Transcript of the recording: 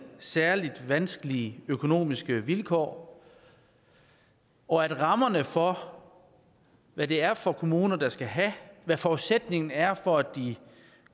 særlig vanskelige økonomiske vilkår og at rammerne for hvad det er for nogle kommuner der skal have hvad forudsætningen er for at de